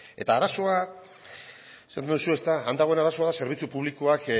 eta arazoa esan duzue han dagoen arazoa zerbitzu publikoak